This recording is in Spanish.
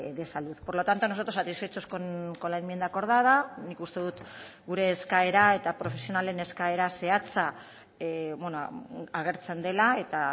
de salud por lo tanto nosotros satisfechos con la enmienda acordada nik uste dut gure eskaera eta profesionalen eskaera zehatza agertzen dela eta